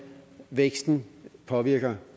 væksten påvirker